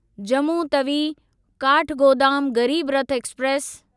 Jammu Tawi Kathgodam Garib Rath express